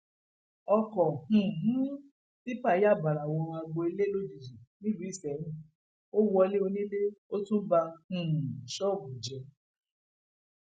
ọkọ um tipa yà bàrá wọ agbo ilé lójijì nílùú isẹyìn ó wọlé onílé ó tún ba um ṣọọbù jẹ